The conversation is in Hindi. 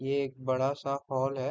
ये एक बड़ा सा हॉल है।